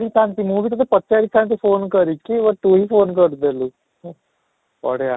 କରିଥାନ୍ତି ମୁଁ ବି ତୁମେ ପଚାରିଥାନ୍ତି phone କରିକି but ତୁ ହିଁ phone କରିଦେଲୁ ହେ ବଢ଼ିଆ